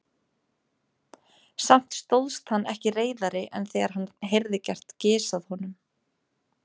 Samt stóðst hann ekki reiðari en þegar hann heyrði gert gys að honum.